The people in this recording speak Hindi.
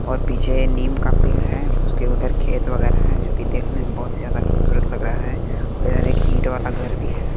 और पीछे ये नीम का पेड़ हैं उसके उधर खेत वगैरा हैं जोकि देखने में बहोत ही ज्यादा खूबसूरत लग रहा है और इधर एक इट वाला घर भी है।